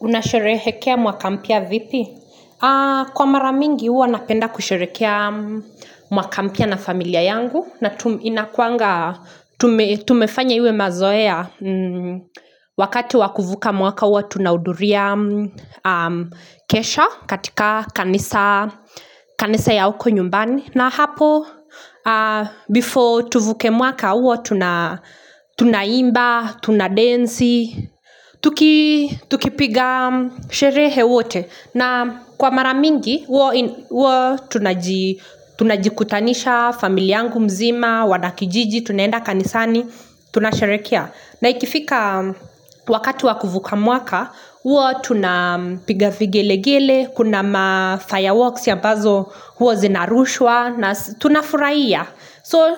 Unasherehekea mwaka mpya vipi? Kwa mara mingi huwa napenda kusherehekea mwaka mpya na familia yangu. Na inakuanga, tumefanya iwe mazoea. Wakati wakuvuka mwaka huwa, tunaudhuria kesha katika kanisa ya huko nyumbani. Na hapo, before tuvuke mwaka huwa, tunaimba, tunadensi. Tukipiga sherehe wote na kwa mara mingi Tunajikutanisha familia yangu mzima Wanakijiji Tunaenda kanisani Tuna sherekea na ikifika Wakati wa kuvuka mwaka Tunapiga vigelegele Kuna fireworks ambazo huwa zinarushwa tunafurahia So